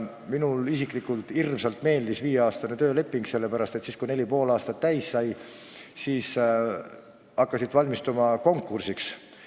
Mulle isiklikult hirmsasti meeldis viieaastane tööleping, sellepärast et siis, kui neli ja pool aastat täis sai, tuli hakata valmistuma konkursiks.